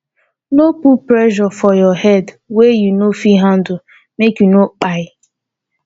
no put pressure for your head wey you no fit handle make you no kpai